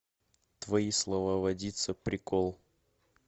твои слова водица прикол